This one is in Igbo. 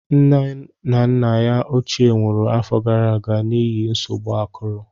Nne na nna ya ochie nwụrụ afọ gara aga n'ihi nsogbu akuru